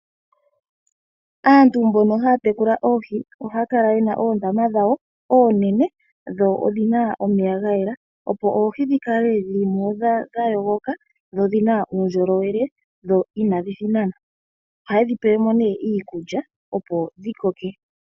Aantu mbono haya tekula oohi ohaya kala ye na oondama dhawo oonene, dho odhi na omeya ga yela opo oohi dhi kale dha yogoka, sho odhi na uundjolowele. Ohaye dhi pele mo nee iikulya opo dhi koke.